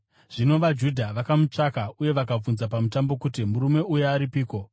Zvino vaJudha vakamutsvaka uye vakabvunza paMutambo kuti, “Murume uya aripiko?”